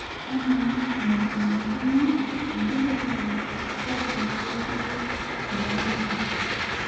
amaa enaikunakino enkijiape kaji etiu tenawiki